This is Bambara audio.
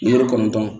Ni kɔnɔntɔn